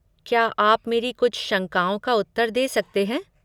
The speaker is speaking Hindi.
क्या आप मेरी कुछ शंकाओं का उत्तर दे सकते हैं?